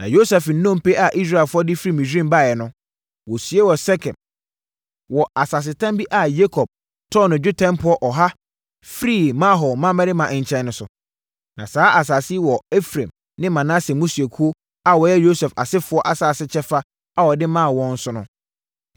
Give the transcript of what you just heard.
Na Yosef nnompe a Israelfoɔ de firi Misraim baeɛ no, wɔsiee wɔ Sekem wɔ asasetam bi a Yakob tɔɔ no dwetɛ mpɔ ɔha firii Hamor mmammarima nkyɛn no so. Na saa asase yi wɔ Efraim ne Manase mmusuakuo a wɔyɛ Yosef asefoɔ asase kyɛfa a wɔde maa wɔn no so.